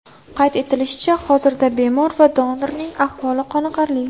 Qayd etilishicha, hozirda bemor va donorning ahvoli qoniqarli.